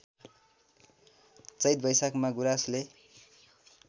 चैत वैशाखमा गुराँसले